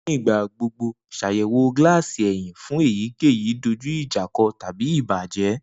Nigba gbogbo ṣayẹwo gilasi ẹhin fun eyikeyi dojuijako tabi ibajẹ.